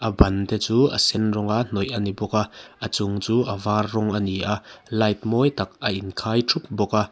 ban te chu a sen rawnga hnawih a ni bawk a a chung chu a var rawng a ni a light mawi tak a in khai thup bawk a.